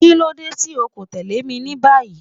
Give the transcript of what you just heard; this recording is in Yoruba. Kilode ti o ko tẹle mi ni bayi!